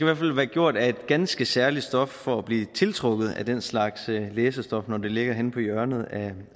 hvert fald være gjort af et ganske særligt stof for at blive tiltrukket af den slags læsestof når det ligger henne på hjørnet af